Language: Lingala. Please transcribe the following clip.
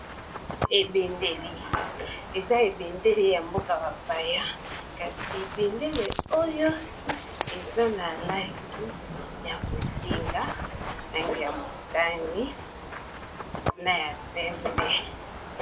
Ebendele, eza ebendele ya mboka ba paya kasi ebendele oyo eza na langi ya mosinga, langi ya motani, na ya pembe.